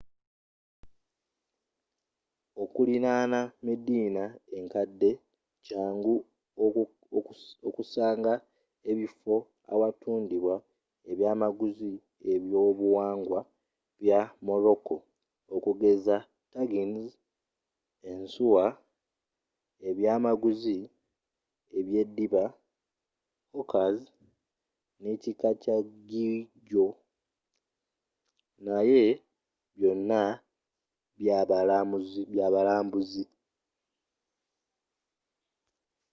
okulirana medina enkadde kyangu okusanga ebifo awatundibwa ebyaamaguzi by'obuwangwa bya morocco okugeza tagines ensuwa ebyaamaguzi ebyeddiba hookahs neekika kya geegaw naye byonna byabalambuzi